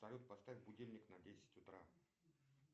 салют поставь будильник на десять утра